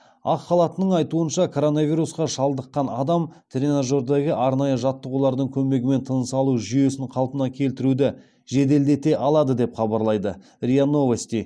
ақ халаттының айтуынша коронавирусқа шалдыққан адам тренажердегі арнайы жаттығулардың көмегімен тыныс алу жүйесін қалпына келтіруді жеделдете алады деп хабарлайды риа новости